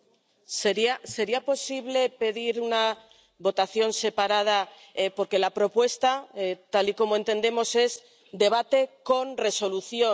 Señor presidente, ¿sería posible pedir una votación separada? Porque la propuesta, tal y como entendemos, es debate con resolución.